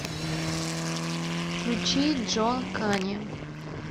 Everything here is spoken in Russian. включи джон кани